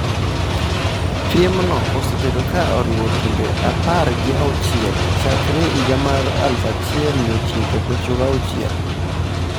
Piemno osebedo ka oriwo timbe apar gi auchiel chakre higa mar 1996.